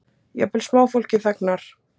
Jafnvel smáfólkið þagnar.